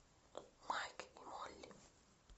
майк и молли